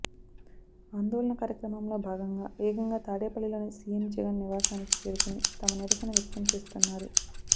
ఆందోళన కార్యక్రమంలో భాగంగా ఏకంగా తాడేపల్లిలోని సీఎం జగన్ నివాసానికి చేరుకొని తమ నిరసన వ్యక్తం చేస్తున్నారు